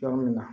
Yɔrɔ min na